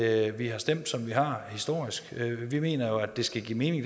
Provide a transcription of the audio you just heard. at vi har stemt som vi har historisk vi mener jo at det skal give mening